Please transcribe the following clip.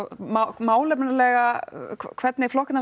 málefnalega hvernig flokkarnir